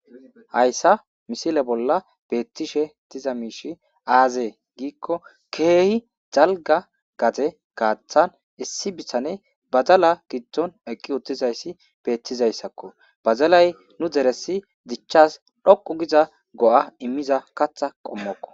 Hayssa misile bolla beetishe diza miishshey aaze giiko keehi dalgga gade gaaththan issi bitaney badala giddon eqqi uttidayssi beetizayssako. Badalay nu deresi dichas dhoqqu giza go'a immiza kaththa qommoko.